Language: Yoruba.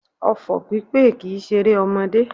Ọfọ̀ pípè kìí ṣeré ọmọdé